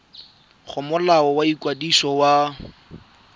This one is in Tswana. go molao wa ikwadiso wa